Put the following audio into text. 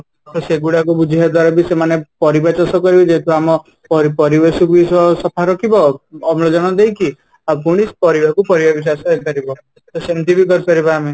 ତ ସେଗୁଡାକୁ ବୁଝେଇବା ଦ୍ୱାରା ବି ସେମାନେ ଯେହେତୁ ଆମ ପରିବେଶ କୁ ସଫା ରଖିବ ଅମ୍ଳଜାନ ଦେଇକି ତ ସେମିତି ବି କରିପାରିବା ଆମେ